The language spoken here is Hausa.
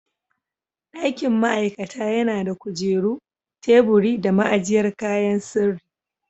Dakin ma'aikata yana da kujeru, teburi da ma'ajiyar kayan sirri.